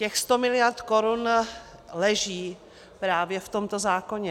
Těch 100 mld. korun leží právě v tomto zákoně.